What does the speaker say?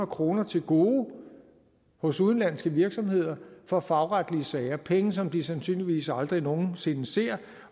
kroner til gode hos udenlandske virksomheder fra fagretlige sager penge som de sandsynligvis aldrig nogen sinde ser